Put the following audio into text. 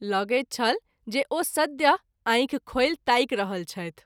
लगैत छल जे ओ सद्य: आंखि खोलि ताकि रहल छथि।